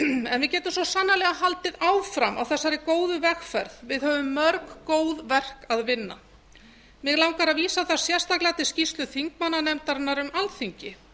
en við getum þó sannarlega haldið áfram á þessari góðu vegferð við höfum mörg góð verk að vinna mig langar að vísa þar sérstaklega til skýrslu þingmannanefndarinnar um alþingi